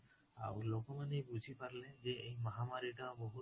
ଆଉ ଲୋକ ମାନେ ବୁଝି ପାରିଲେ ଯେ ଏଇ ମହାମାରୀ ଟା ବହୁତ